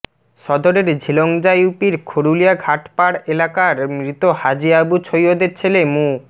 সদরের ঝিলংজা ইউপির খরুলিয়া ঘাটপাড় এলাকার মৃত হাজী আবু ছৈয়দের ছেলে মু